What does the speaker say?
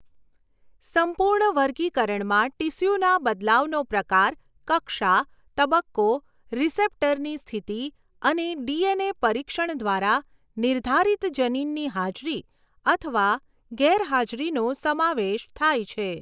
સંપૂર્ણ વર્ગીકરણમાં ટીસ્યુના બદલાવનો પ્રકાર, કક્ષા, તબક્કો, રીસેપ્ટરની સ્થિતિ અને ડીએનએ પરીક્ષણ દ્વારા નિર્ધારિત જનીનની હાજરી અથવા ગેરહાજરીનો સમાવેશ થાય છે.